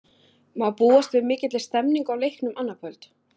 Má búast við mikilli stemningu á leiknum annað kvöld?